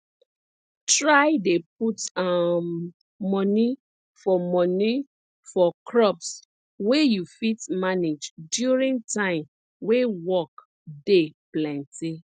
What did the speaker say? try dey put um money for money for crops wey you fit manage during time wey work dey plenty